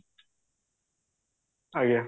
ଆଜ୍ଞା